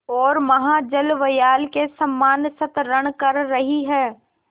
ओर महाजलव्याल के समान संतरण कर रही है